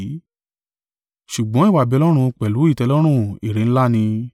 Ṣùgbọ́n ìwà-bí-Ọlọ́run pẹ̀lú ìtẹ́lọ́rùn èrè ńlá ni.